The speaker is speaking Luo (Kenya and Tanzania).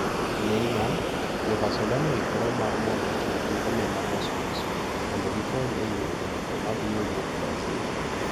Neymar: Jo-Barcelona 'oikore mar mondo ochulgi omenda mos mos' mondo gikony e yudo jatugo ma biro wuok Brazil